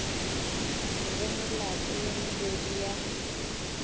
re melato ye mebedi ya